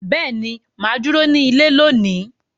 Beeni, maa duro ni ile loni.